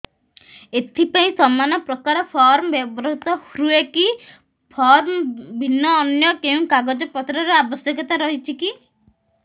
ଏଥିପାଇଁ ସମାନପ୍ରକାର ଫର୍ମ ବ୍ୟବହୃତ ହୂଏକି ଫର୍ମ ଭିନ୍ନ ଅନ୍ୟ କେଉଁ କାଗଜପତ୍ରର ଆବଶ୍ୟକତା ରହିଛିକି